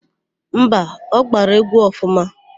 Mba, ọ gbara égwú ọfụma.